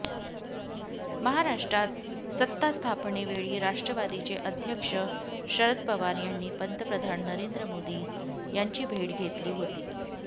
महाराष्ट्रात सत्तास्थापनेवेळी राष्ट्रवादीचे अध्यक्ष शरद पवार यांनी पंतप्रधान नरेंद्र मोदी यांची भेट घेतली होती